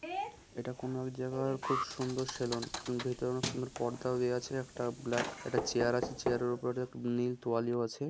এটা কোনো এক জায়গার খুব সুন্দর সেলুন ভেতরে অনেক সুন্দর পর্দাও দেওয়া আছে একটা ব্ল্যাক একটা চেয়ার আছে চেয়ারের উপরে একটা নীল তোয়ালিও আছে।